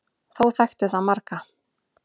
Þó þekkti það marga.